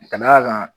Ka d'a kan